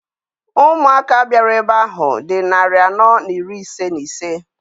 Ụmụaka bịara ebe ahụ dị narị anọ na iri ise na ise.